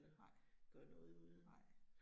Nej. Nej